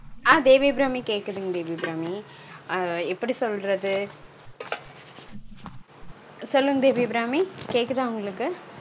ஆஹ் தேவி அபிராமி கேக்குதுங் தேவி அபிராமி. அஹ் எப்படி சொல்றது? சொல்லுங்க தேவி அபிராமி கேக்குதா உங்களுக்கு?